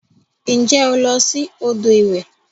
Nje o lo si odo iwe?